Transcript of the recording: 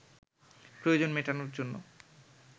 প্রয়োজন মেটানোর জন্য